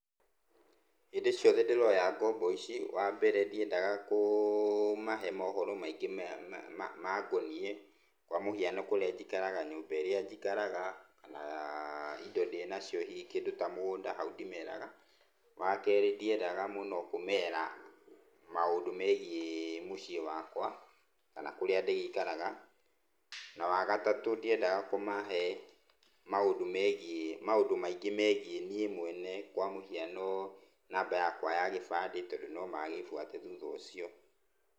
Hĩndĩ ciothe ndĩroya ngombo ici wa mbere ndĩendaga kũmahe mohoro maingĩ mangoniĩ kwa mũhiano kũria njikaraga, nyũmba ĩria njikaraga kana indo ndĩ nacio hihi ta mũgunda hau ndĩmeraga, wakerĩ ndĩendaga mũno kũmera maũndũ megie mũciĩ wakwa kana kũria ndĩgĩikaraga na wagatatũ ndĩendaga kũmahe maũndũ maingĩ megie niĩ mwene kwa mũhiano namba yakwa ya gĩbandĩ tondũ no magĩbuate thutha ũcio.